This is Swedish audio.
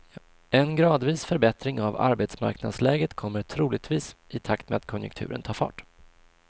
En gradvis förbättring av arbetsmarknadsläget kommer troligtvis, i takt med att konjunkturen tar fart.